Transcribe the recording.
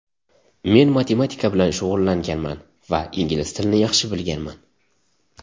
Men matematika bilan shug‘ullanganman va ingliz tilini yaxshi bilganman.